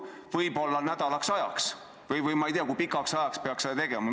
Võib-olla on seda vaja nädalaks ajaks või ma ei tea, kui pikaks ajaks peaks seda tegema.